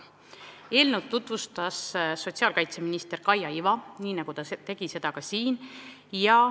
Eelnõu tutvustas sotsiaalkaitseminister Kaia Iva, nii nagu ta tegi seda ka siin.